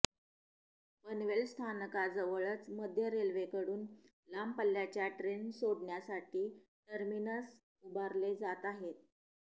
पनवेल स्थानकाजवळच मध्य रेल्वेकडून लांब पल्ल्याच्या ट्रेन सोडण्यासाठी टर्मिनस उभारले जात आहे